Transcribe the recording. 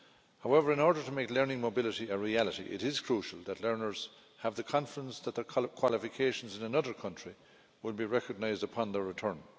However, in order to make learning mobility a reality, it is crucial that learners have the confidence that their qualifications in another country would be recognised upon their return.